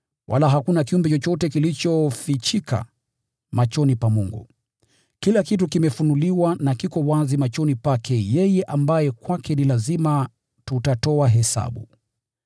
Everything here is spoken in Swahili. Wala hakuna kiumbe chochote kilichofichika machoni pa Mungu. Kila kitu kimefunuliwa na kiko wazi machoni pake yeye ambaye kwake ni lazima tutatoa hesabu.